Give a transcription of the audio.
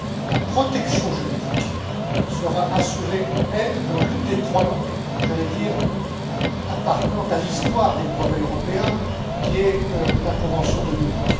La protection juridique sera assurée, elle, dans l'une des trois langues appartenant à l'histoire des brevets européens, qui est la convention de Munich.